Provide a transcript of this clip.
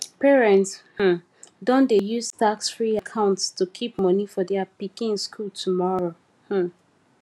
parents um don dey use taxfree accounts to keep money for their pikin school tomorrow um